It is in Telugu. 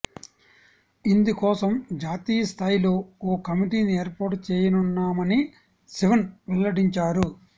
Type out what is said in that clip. ఇందుకోసం జాతీయ స్థాయిలో ఓ కమిటీని ఏర్పాటు చేయనున్నామని శివన్ వెల్లడించారు